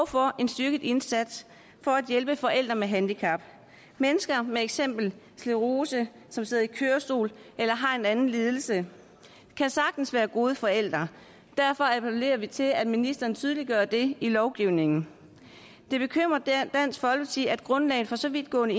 for en styrket indsats for at hjælpe forældre med handicap mennesker med for eksempel sclerose som sidder i kørestol eller har en anden lidelse kan sagtens være gode forældre derfor appellerer vi til at ministeren tydeliggør det i lovgivningen det bekymrer dansk folkeparti at grundlaget for så vidtgående